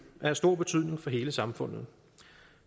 er af stor betydning for hele samfundet